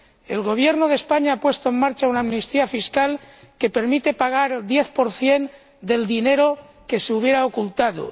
El Gobierno de España ha puesto en marcha una amnistía fiscal que permite pagar el 10 del dinero que se hubiera ocultado.